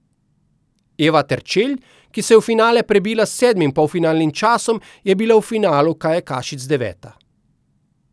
Eva Terčelj, ki se je v finale prebila s sedmim polfinalnim časom, je bila v finalu kajakašic deveta.